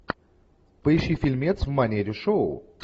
поищи фильмец в манере шоу